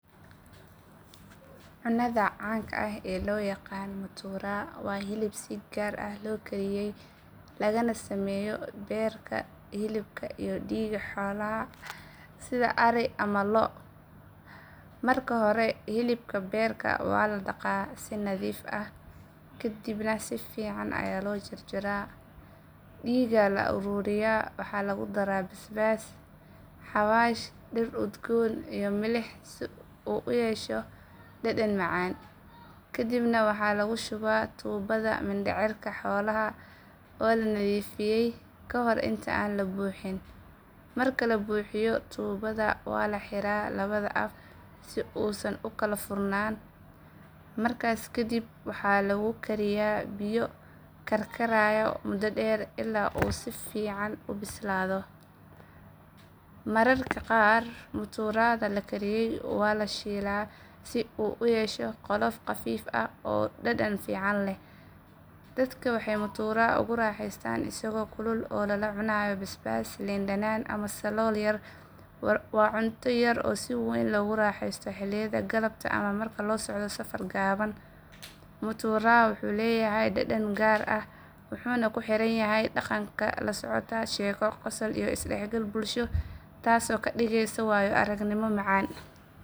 Cunnada caanka ah ee loo yaqaan mutura waa hilib si gaar ah loo kariyay lagana sameeyo beerka, hilibka iyo dhiigga xoolaha sida ari ama lo'. Marka hore hilibka iyo beerka waa la dhaqaa si nadiif ah kadibna si fiican ayaa loo jarjaraa. Dhiigga la ururiyay waxaa lagu daraa basbaas, xawaash, dhir udgoon iyo milix si uu u yeesho dhadhan macaan. Kadibna waxaa lagu shubaa tuubada mindhicirka xoolaha oo la nadiifiyay ka hor inta aan la buuxin. Marka la buuxiyo tuubada waa la xiraa labada af si uusan u kala furnaan. Markaas kadib waxaa lagu kariyaa biyo karkaraya muddo dheer ilaa uu si fiican u bislaado. Mararka qaar muturada la kariyay waa la shiilaa si uu u yeesho qolof qafiif ah oo dhadhan fiican leh. Dadka waxay mutura ugu raaxeystaan isagoo kulul oo lala cunayo basbaas, liin dhanaan ama salool yar. Waa cunto si weyn loogu raaxeysto xilliyada galabta ama marka la socdo safar gaaban. Mutura wuxuu leeyahay dhadhan gaar ah wuxuuna ku xiran yahay dhaqanka iyo habka loo kariyo. Cunnistiisu waxay la socotaa sheeko, qosol iyo is dhexgal bulsho taasoo ka dhigaysa waayo aragnimo macaan.